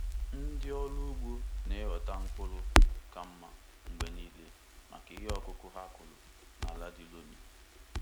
Ndị ọrụ ugbo na-enweta mkpụrụ ka mma mgbe niile maka ihe ọkụkụ ha kụrụ na ala di loamy.